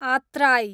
आत्राई